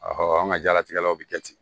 an ka diɲɛlatigɛ la u bɛ kɛ ten